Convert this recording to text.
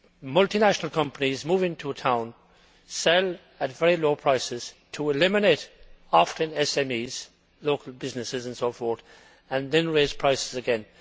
multinational companies moving to a town first sell at very low prices to eliminate SMEs, local businesses and so forth, and then raise prices again.